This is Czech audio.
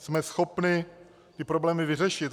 Jsme schopni ty problémy vyřešit.